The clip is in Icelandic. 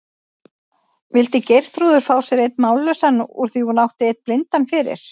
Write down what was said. Vildi Geirþrúður fá sér einn mállausan úr því hún átti einn blindan fyrir?